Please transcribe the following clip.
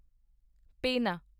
ਪੇਨਾ